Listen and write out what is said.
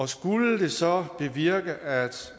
skulle det så bevirke at